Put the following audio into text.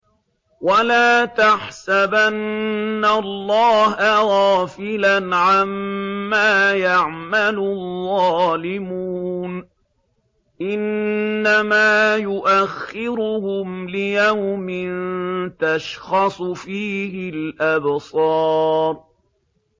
وَلَا تَحْسَبَنَّ اللَّهَ غَافِلًا عَمَّا يَعْمَلُ الظَّالِمُونَ ۚ إِنَّمَا يُؤَخِّرُهُمْ لِيَوْمٍ تَشْخَصُ فِيهِ الْأَبْصَارُ